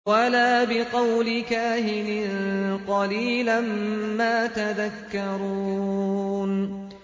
وَلَا بِقَوْلِ كَاهِنٍ ۚ قَلِيلًا مَّا تَذَكَّرُونَ